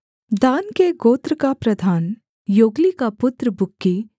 दान के गोत्र का प्रधान योग्ली का पुत्र बुक्की